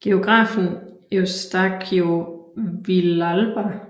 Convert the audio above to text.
Geografen Eustaquio Villalba